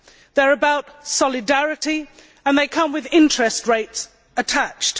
They are about solidarity, and they come with interest rates attached.